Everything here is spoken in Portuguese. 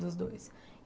dos dois.